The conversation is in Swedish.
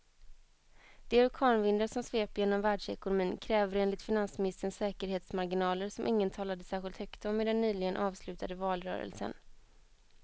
De orkanvindar som sveper genom världsekonomin kräver enligt finansministern säkerhetsmarginaler som ingen talade särskilt högt om i den nyligen avslutade valrörelsen.